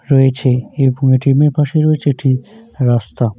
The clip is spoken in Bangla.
রয়েছে এইরকম এ. টি. এম. এর পাশে রয়েছে একটি রাস্তা।